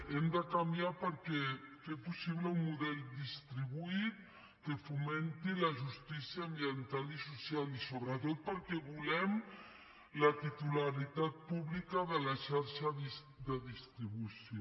hem de canviar per fer possible un model distribuït que fomenti la justícia ambiental i social i sobretot perquè volem la titularitat pública de la xarxa de distribució